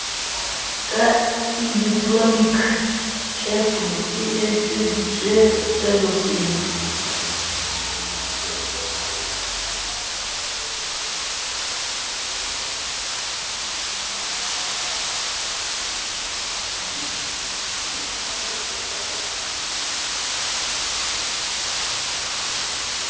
ka elektroniki ceftu e entsetswelopele